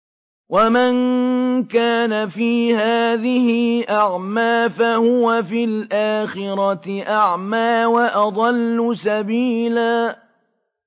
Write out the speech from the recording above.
وَمَن كَانَ فِي هَٰذِهِ أَعْمَىٰ فَهُوَ فِي الْآخِرَةِ أَعْمَىٰ وَأَضَلُّ سَبِيلًا